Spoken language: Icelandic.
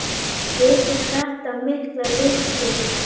Vekur þetta mikla lukku.